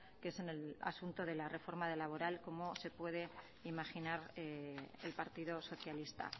que es en el asunto de la reforma laboral como se puede imaginar el partido socialista